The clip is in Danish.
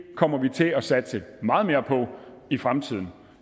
kommer til at satse meget mere på i fremtiden